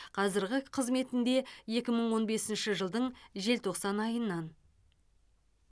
қазіргі қызметінде екі мың он бесінші жылдың желтоқсан айынан